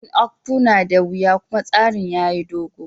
Yin Akpu na da wiya kuma tsarin yayi gogo.